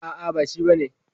A'a ba shi bane.